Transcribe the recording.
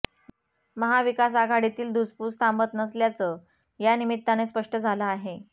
महाविकास आघाडीतील धुसफूस थांबत नसल्याचं यानिमित्ताने स्पष्ट झालं आहे